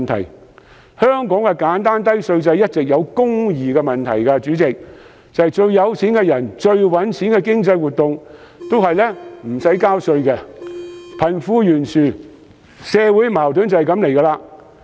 主席，香港的簡單低稅制一直存在公義問題，因為最富有的人和最賺錢的經濟活動一向無須納稅，貧富懸殊和社會矛盾由此而生。